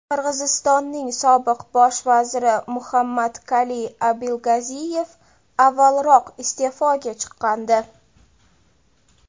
Qirg‘izistonning sobiq bosh vaziri Muhammadkaliy Abilgaziyev avvalroq iste’foga chiqqandi .